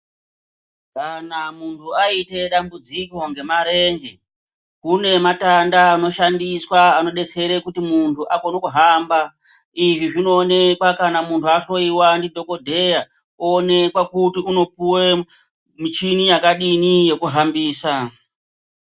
Kana muntu aita dambudziko ngemarenje kune matanda anobetsera kuti muntu akone kuhamba. Izvi zvinooneka kana muntu ahloiva ndidhogodheya oonekwa kuti unopuve michini yakadini yekuhambisa.